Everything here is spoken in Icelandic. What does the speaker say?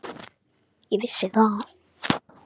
Ég vissi það.